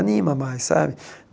Anima mais, sabe?